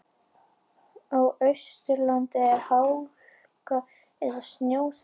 Á Austurlandi er hálka eða snjóþekja